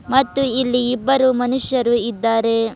ಮತ್ತು ಇಲ್ಲಿ ಇಬ್ಬರು ಮನುಷ್ಯರು ಇದ್ದಾರೆ.